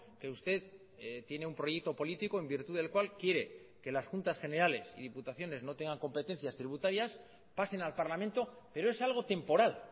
que usted tiene un proyecto político en virtud del cual quiere que las juntas generales y diputaciones no tengan competencias tributarias pasen al parlamento pero es algo temporal